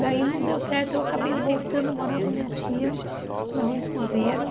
Daí não deu certo, eu acabei voltando a morar com a minha tia, na rua Escoveiro.